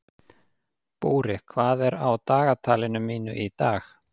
Búri, hvað er á dagatalinu mínu í dag?